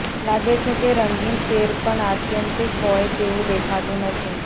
લાગે છે કે રંગીન સેર પણ આત્યંતિક હોય તેવું દેખાતું નથી